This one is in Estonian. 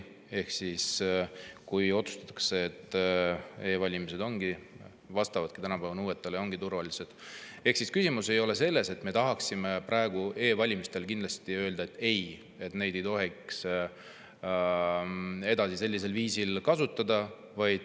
Ehk kui otsustatakse, et e‑valimised vastavad tänapäeva nõuetele ja ongi turvalised, siis ei ole küsimus selles, nagu me tahaksime e-valimiste kohta ikkagi kindlasti öelda, et ei, neid ei tohiks sellisel viisil edasi kasutada.